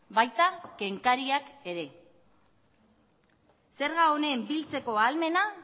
baita kenkariak ere zerga honen biltzeko ahalmena